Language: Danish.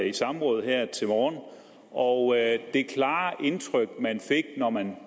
i samråd her til morgen og det klare indtryk man fik når man